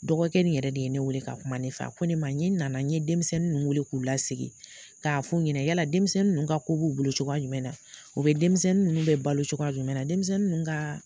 Dɔgɔkɛ nin yɛrɛ de ye ne wele k'a kuma ne fɛ a ko ne ma ɲɛ na na n ye denmisɛnnin ninnu weele k'u lasigi k'a f'u ɲɛna yala denmisɛnnin ninnu ka ko b'u bolo cogoya jumɛn na denmisɛnnin ninnu bɛ balo cogoya jumɛn na denmisɛnnin ka